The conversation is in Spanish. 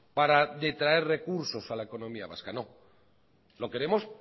para detraer recursos a la economía vasca lo queremos